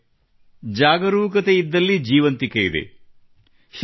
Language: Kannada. ಸ್ನೇಹಿತರೆ ಜಾಗರೂಕತೆಯಿದ್ದಲ್ಲಿ ಜೀವಂತಿಕೆಯಿದೆ